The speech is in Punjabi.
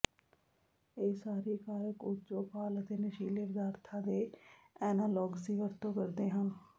ਇਹ ਸਾਰੇ ਕਾਰਕ ਊਰਜ਼ੋਫਾਲ ਅਤੇ ਨਸ਼ੀਲੇ ਪਦਾਰਥਾਂ ਦੇ ਐਨਾਲੋਗਜ ਦੀ ਵਰਤੋਂ ਕਰਦੇ ਹਨ